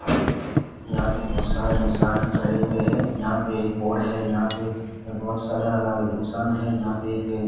यहां पे बहोत सारा इंसान है खड़े हुए हैं यहां पे एक बोर्ड है यहां पे बहोत सारा इंसान है यहां पे एक-